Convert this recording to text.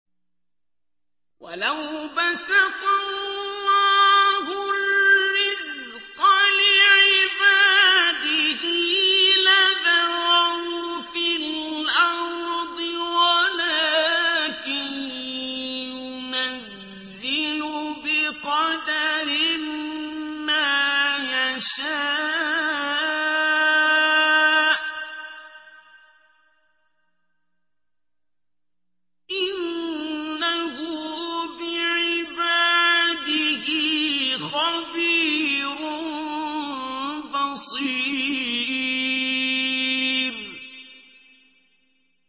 ۞ وَلَوْ بَسَطَ اللَّهُ الرِّزْقَ لِعِبَادِهِ لَبَغَوْا فِي الْأَرْضِ وَلَٰكِن يُنَزِّلُ بِقَدَرٍ مَّا يَشَاءُ ۚ إِنَّهُ بِعِبَادِهِ خَبِيرٌ بَصِيرٌ